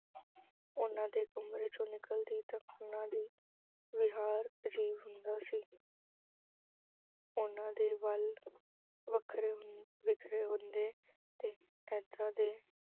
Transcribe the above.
ਉਹਨਾਂ ਦੇ ਕਮਰੇ ਚੋਂ ਨਿਕਲਦੀ ਤਾਂ ਉਹਨਾਂ ਦਾ ਵਿਹਾਰ ਅਜੀਬ ਹੁੰਦਾ ਸੀ ਉਹਨਾਂ ਦੇ ਵਾਲ ਵੱਖਰੇ ਅਹ ਬਿਖਰੇ ਹੁੰਦੇ ਤੇ ਐਦਾ